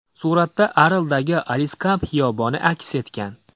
Suratda Arldagi Aliskamp xiyoboni aks etgan.